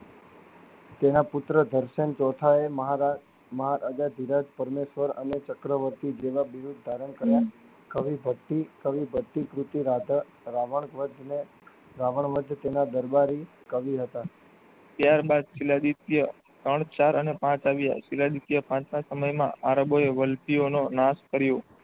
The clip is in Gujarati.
ત્યારબાદ શીલદ્વીપય ત્રણ ચાર અને પાંચ આવ્યા. શીલદ્વીપય પાંચ ના સમય માં આરબો એ વલપી ઑનો નાશ કર્યો.